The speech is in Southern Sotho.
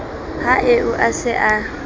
ha eo a se a